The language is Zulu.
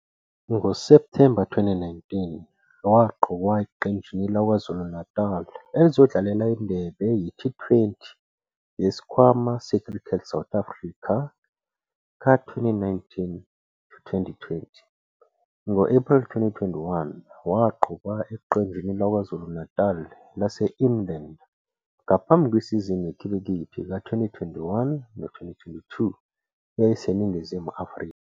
NgoSepthemba 2019, waqokwa eqenjini laKwaZulu-Natal elizodlalela iNdebe ye- T20 yesiKhwama se-CSA ka-2019-20. Ngo-Ephreli 2021, waqokwa eqenjini laKwaZulu-Natali lase-Inland, ngaphambi kwesizini yekhilikithi ka-2021-22 eyayiseNingizimu Afrika.